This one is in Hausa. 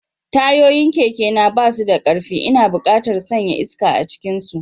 Tayoyin kekena ba su da ƙarfi, ina buƙatar sanya iska a cikinsu.